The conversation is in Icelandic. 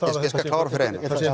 klára fyrir